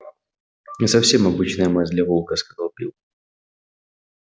не совсем обычная масть для волка сказал билл